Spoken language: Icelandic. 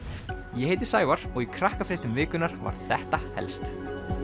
ég heiti Sævar og í Krakkafréttum vikunnar var þetta helst